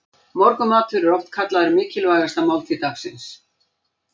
Morgunmatur er oft kallaður mikilvægasta máltíð dagsins.